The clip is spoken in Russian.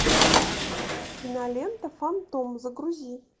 кинолента фантом загрузи